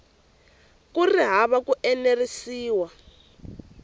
ku ri hava ku enerisiwa